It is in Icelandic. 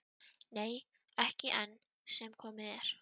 Nei, ekki enn sem komið er.